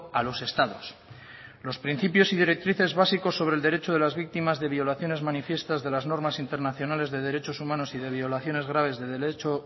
a los estados los principios y directrices básicos sobre el derecho de las víctimas de violaciones manifiestas de las normas internacionales de derechos humanos y de violaciones graves del derecho